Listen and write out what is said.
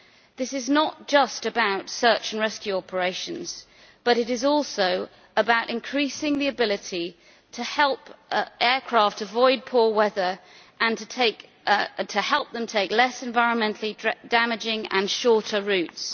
This is not just about search and rescue operations, but it is also about increasing the ability to help aircraft avoid poor weather and to help them take less environmentally damaging and shorter routes.